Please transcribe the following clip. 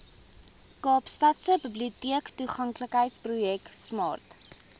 kaapstadse biblioteektoeganklikheidsprojek smart